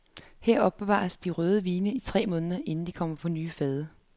Her opbevares de røde vine i tre måneder inden de kommer over på nye fade.